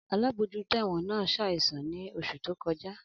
Alabojuto ẹ̀wọ̀n naa saìsàn ni oṣu to kọja.